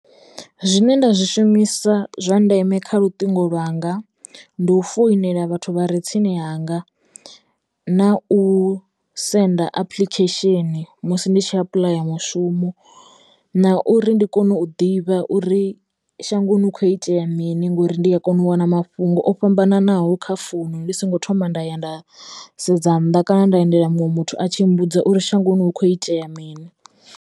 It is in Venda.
Zwine nda zwi shumisa zwa ndeme kha luṱingo lwanga ndi u foinela vhathu vha re tsini hanga na u senda apuḽikhesheni musi ndi tshi apuḽaya mushumo na uri ndi kone u ḓivha uri shangoni hu kho itea mini ngori ndi a kono u wana mafhungo o fhambananaho kha founu ndi songo thoma nda ya nda sedza nnḓa kana nda endela muṅwe muthu a tshi mmbudza uri shangoni hu kho itea mini.